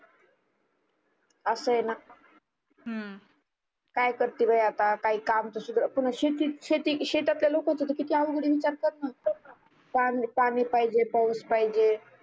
असये ना काय करते बाई आता काही काम पुन्हा शेती शेतातल्या लोकच त कीती अवघड आहे विचार कर ना पानी पाहीजे पाऊस पाहिजे